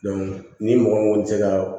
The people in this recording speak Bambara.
ni mɔgɔ min kɔni tɛ ka